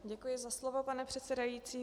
Děkuji za slovo, pane předsedající.